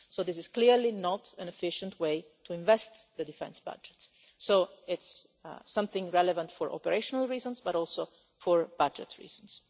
This is clearly not an efficient way to invest the defence budgets, so it's relevant for operational reasons and for budget reasons.